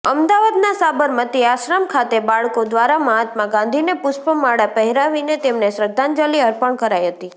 અમદાવાદના સાબરમતી આશ્રમ ખાતે બાળકો દ્વારા મહાત્મા ગાંધીને પુષ્પમાળા પહેરાવીને તેમને શ્રદ્ધાંજલિ અર્પણ કરાઇ હતી